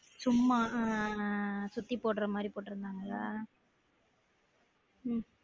சும்மா அஹ் அஹ் சுத்தி போடுற மாதிரி போட்டுருந்தாங்களா உம்